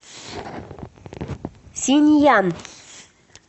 синъян